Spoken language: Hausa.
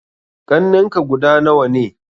Ƙannenka guda nawa ne?